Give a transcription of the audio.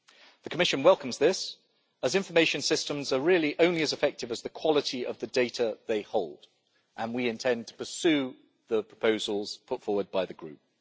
The Commission welcomes this, as information systems are really only as effective as the quality of the data they hold and we intend to pursue the proposals put forward by the Group.